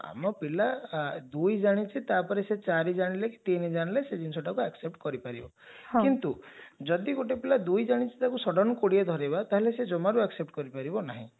ଆମ ପିଲା ଦୁଇ ଜାଣିଛି ତାପରେ ସେ ଚାରି ଜାଣିଲେ କି ତିନି ଜାଣିଲେ ସେଇ ଜିନିଷଟାକୁ accept କରିପାରିବ କିନ୍ତୁ ଯଦି ଗୋଟେ ପିଲା ଦୁଇ ଜାଣିଛି ତାକୁ sudden କୋଡିଏ ଧରେଇବା ତାହାଲେ ସେ ଜମାରୁ accept କରିପାରିବ ନାହିଁ